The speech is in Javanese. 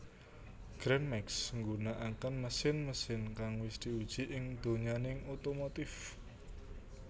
Gran Max nggunakaké mesin mesin kang wis diuji ing donyaning otomotif